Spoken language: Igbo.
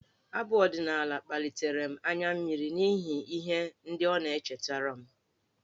Abụ ọdịnaala kpalitere m anya mmiri n'ihi ihe ndị ọ na-echetara m.